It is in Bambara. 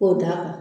K'o d'a kan